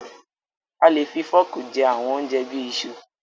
A le fi fọ́ọ́kì jẹ àwọn oúnjẹ bí i iṣu.